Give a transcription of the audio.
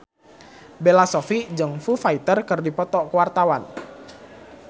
Bella Shofie jeung Foo Fighter keur dipoto ku wartawan